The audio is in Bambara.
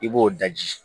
I b'o daji